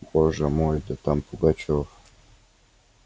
боже мой да там пугачёв